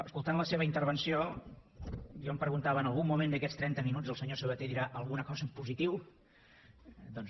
escoltant la seva intervenció jo em preguntava en algun moment d’aquests trenta minuts el senyor sabaté dirà alguna cosa en positiu doncs no